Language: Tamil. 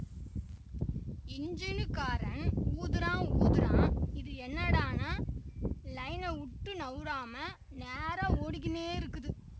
இஞ்சினுக்காரன் ஊதறான்ஊதறான்இது என்னடான்னா லைனைவுட்டு நவுறாம நேரா ஓடிக்கின்னே இருக்குது